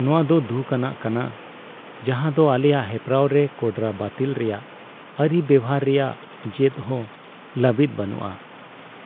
ᱱᱚᱶᱟ ᱫᱚ ᱫᱩᱠ ᱟᱱᱟᱜ ᱠᱟᱱᱟ ᱡᱟᱦᱟᱸᱫᱚ ᱟᱞᱮᱭᱟᱜ ᱦᱮᱯᱨᱟᱣ ᱨᱮ ᱠᱚᱰᱨᱟ ᱵᱟᱹᱛᱤᱞ ᱨᱮᱭᱟᱜ ᱟᱹᱨᱤ ᱵᱮᱣᱦᱟᱨ ᱨᱮᱭᱟᱜ ᱡᱮᱫ ᱦᱚᱸ ᱞᱟᱹᱵᱤᱛ ᱵᱟᱱᱩᱜᱼᱟ,